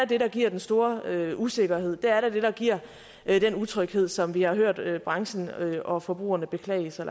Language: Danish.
det der giver den store usikkerhed der er da det der giver den utryghed som vi har hørt hørt branchen og forbrugerne beklage sig